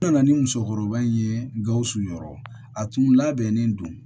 N nana ni musokɔrɔba in ye gawusu yɔrɔ a tun labɛnnen don